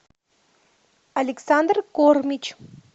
александр кормич